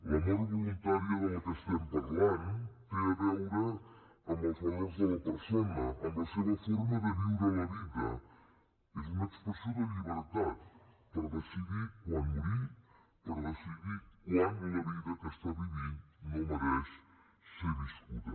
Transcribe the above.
la mort voluntària de la que estem parlant té a veure amb els valors de la persona amb la seva forma de viure la vida és una expressió de llibertat per decidir quan morir per decidir quan la vida que està vivint no mereix ser viscuda